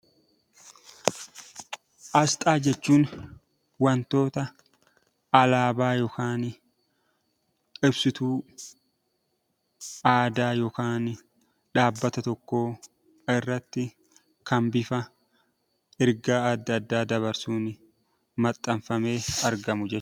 Asxaa jechuun wantoota alaabaa yookaan ibsituu aadaa yookaan dhaabbata tokkoo irratti kan bifa ergaa adda addaa dabarsuun maxxanfamee argamu jech....